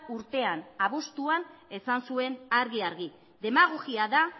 urtean abuztuan esan zuen argi argi demagogia da